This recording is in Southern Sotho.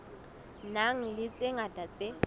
nang le tse ngata tse